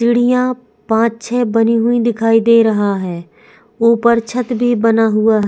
सीढ़ियां पांच छह बनी हुई दिखाई दे रहा है ऊपर छत भी बना हुआ है।